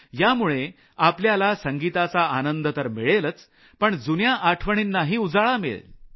यामुळे आपल्याला संगीताचा आनंद तर मिळेलच पण जुन्या आठवणीनांही उजाळा मिळेल